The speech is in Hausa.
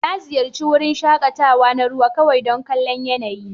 Na ziyarci wurin shakatawa na ruwa kawai don kallon yanayin.